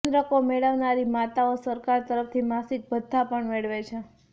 ચંદ્રકો મેળવનારી માતાઓ સરકાર તરફથી માસિક ભથ્થા પણ મેળવે છે